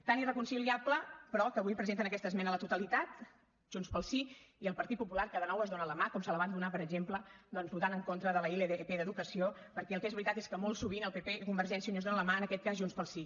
tan irreconciliable però que avui presenten aquesta esmena a la totalitat junts pel sí i el partit popular que de nou es donen la mà com se la van donar per exemple doncs votant en contra de la ilp d’educació perquè el que és veritat és que molt sovint el pp i convergència i unió es donen la mà en aquest cas junts pel sí